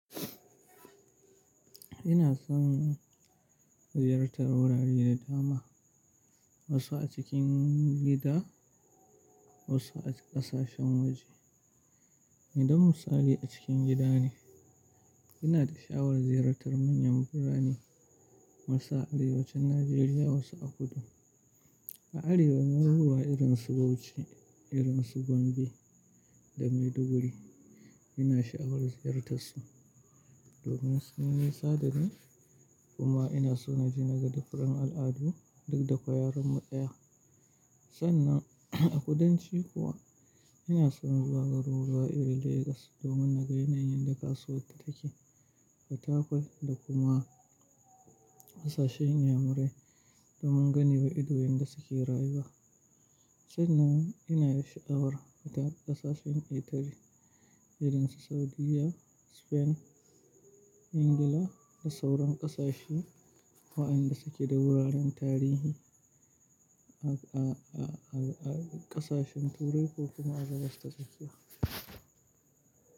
Ina son ziyartar wurare da dama, wasu a cikin gida wasu a ƙasashen waje. Idan misali a cikin gida ne. Ina da sha'awar ziyartar manyan birane wasu a Arewacin Najeriya wasu a kudu. A arewa garuruwa irin su Bauchi, irin su Gombe da Maiduguri. Ina sha'awar ziyartarsu domin su nesa da ni kuma ina so na je naga difren al'adu duk da ko yaren mu ɗaya. Sannan a kudanci kuwa ina son zuwa garuruwa irin Lagos domin na ga yanayin yanda kasuwarta take, fatakwat da kuma ƙasashen inyamurai domin gane wa ido yanda suke rayuwa. Sannan ina da sha'awar fita ƙasashen ketare, irin su Saudiya, Spain, Ingila da sauran ƙasashe wa'yanda suke da wuraren tarihi, a-a-a a ƙasashen turai ko kuma a Gabas ta tsakiya.